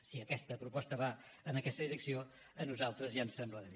si aquesta proposta va en aquesta direcció a nosaltres ja ens semblarà bé